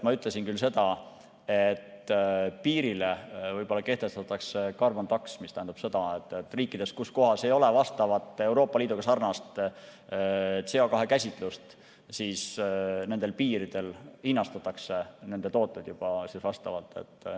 Ma ütlesin küll seda, et piiril võib-olla kehtestatakse carbon tax, mis tähendab seda, et kui riigis ei ole vastavat Euroopa Liiduga sarnast CO2 käsitlust, siis piiridel hinnastatakse nende tooted juba vastavalt.